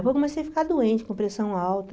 Aí eu comecei a ficar doente, com pressão alta.